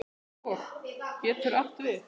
Hof getur átt við